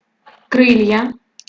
крылья